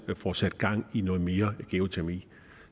får sat gang i noget mere geotermi